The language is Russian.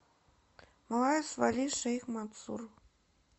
малая свали шейх мансур